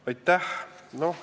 Aitäh!